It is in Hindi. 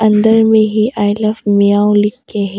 अंदर में ये आई लव म्याऊं लिख के है।